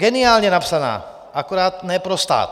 Geniálně napsaná, akorát ne pro stát.